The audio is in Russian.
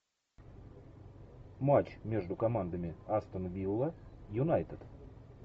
матч между командами астон вилла юнайтед